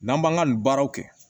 N'an b'an ka nin baaraw kɛ